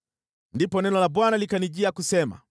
Ndipo neno la Bwana likanijia kusema: